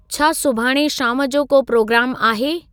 छा सुभाणे शाम जो को प्रोग्रामु आहे